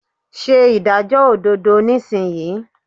Se ìdájọ́ òdodo nísìnyí